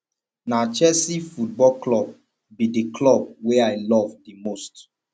na chelsea football club be di club wey i love di most